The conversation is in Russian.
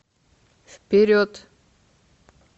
вперед